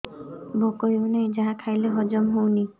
ଭୋକ ହେଉନାହିଁ ଯାହା ଖାଇଲେ ହଜମ ହଉନି